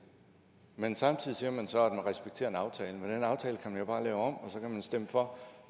men samtidig siger man så at man respekterer en aftale men den aftale kan man jo bare lave om og så kan man stemme for